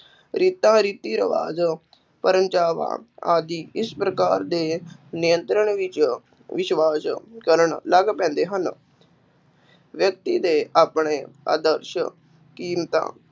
ਰੀਤਾਂ, ਰੀਤੀ-ਰਿਵਾਜ਼ ਆਦਿ ਇਸ ਪ੍ਰਕਾਰ ਦੇ ਨਿਯੰਤਰਣ ਵਿੱਚ ਵਿਸ਼ਵਾਸ ਕਰਨ ਲੱਗ ਪੈਂਦੇ ਹਨ, ਵਿਅਕਤੀ ਦੇ ਆਪਣੇ ਆਦਰਸ਼, ਕੀਮਤਾਂ